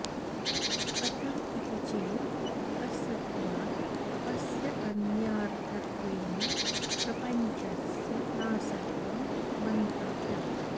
कथं इति चेत् असद्वात् अस्य अन्यार्थत्वेन प्रपञ्चस्य नासत्वं मन्तव्यम्